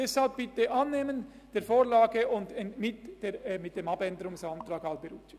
Deshalb bitte ich Sie, die Vorlage mit dem Änderungsantrag Alberucci anzunehmen.